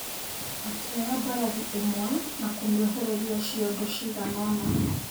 Akĩoya mbarathi ĩmwe na kũmĩohereria ciondo ciganona.